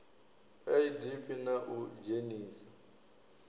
a idp na u dzhenisa